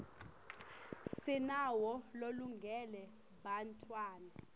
sinawo lolungele bantfwana